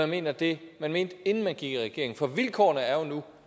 mener det man mente inden man gik i regering for vilkårene er jo nu